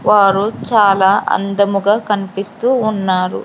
వారు చాలా అందముగా కనిపిస్తూ ఉన్నారు.